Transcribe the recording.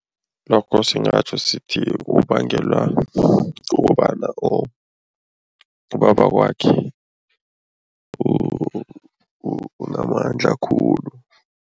Lokho singatjho sithi kubangelwa kukobana or ubabakwakhe unamandla khulu.